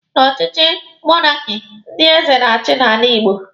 Na ọchịchị monaki, ndị eze na-achi n'ala Igbo.